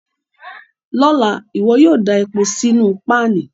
Lọla, iwọ yóò da epo sínu panì